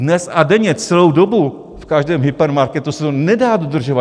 Dnes a denně celou dobu v každém hypermarketu se to nedá dodržovat.